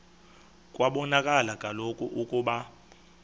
kwabonakala kaloku ukuba